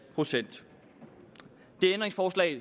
procent det ændringsforslag